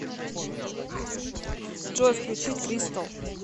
джой включить кристал